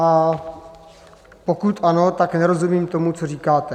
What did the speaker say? A pokud ano, tak nerozumím tomu, co říkáte.